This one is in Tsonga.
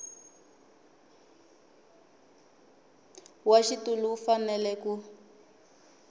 wa xitulu u fanele ku